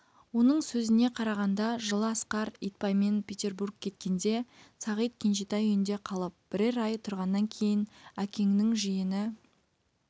оның сөзіне қарағанда жылы асқар итбаймен петербург кеткенде сағит кенжетай үйінде қалып бірер ай тұрғаннан кейін әкеңнің жиені